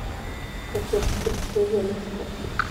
ka tirtir shay liiska